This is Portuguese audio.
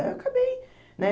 Aí eu acabei, né?